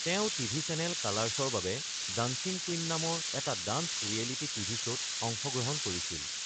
তেওঁ TV channel কালাৰ্ছৰ বাবে ডান্সিং কুইন নামৰ এটা ডান্স ৰিয়েলিটি টিভি শ্ব’ত অংশগ্ৰহণ কৰিছিল।